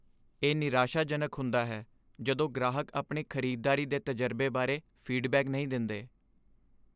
ਇਹ ਨਿਰਾਸ਼ਾਜਨਕ ਹੁੰਦਾ ਹੈ ਜਦੋਂ ਗ੍ਰਾਹਕ ਆਪਣੇ ਖ਼ਰੀਦਦਾਰੀ ਦੇ ਤਜਰਬੇ ਬਾਰੇ ਫੀਡਬੈਕ ਨਹੀਂ ਦਿੰਦੇ।